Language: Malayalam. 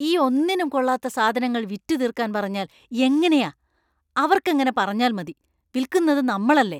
ഈ ഒന്നിനും കൊള്ളാത്ത സാധനങ്ങൾ വിറ്റുതീർക്കാൻ പറഞ്ഞാൽ എങ്ങനെയാ? അവർക്കെങ്ങനെ പറഞ്ഞാൽ മതി, വിൽക്കുന്നത് നമ്മളല്ലേ!